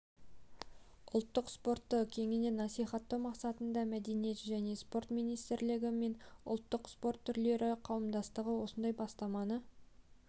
ұлттық спортты кеңінен насихаттау мақсатында мәдениет және спорт министрлігі мен ұлттық спорт түрлері қауымдастығы осындай бастаманы